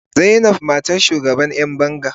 Zainab matar shugaban yan banga.